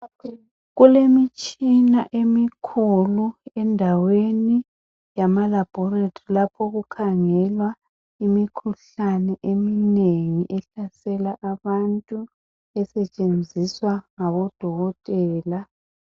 Kulemitshina emikhulu endaweni yamalaboratory okukhangelwa imikhuhlane eminengi ehlasela abantu esetshenziswa ngabodokotela.